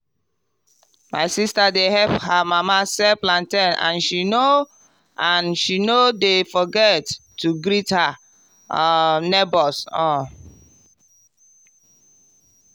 my sister dey help her mama sell plantain and she no and she no dey forget to greet her um neighbours. um